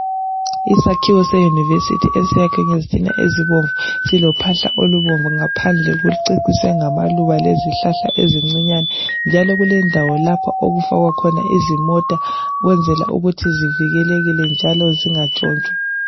Isakhiwo seyunivesiithi esayakhwe ngezitina ezibomvu silophahla olubomvu ngaphandle kuceciswe ngamaluba lezihlahla ezincinyane njalo kulendawo lapho okufakwa khona izimota ukwenzela ukuthi zivikelekile njalo zingatshontshwa.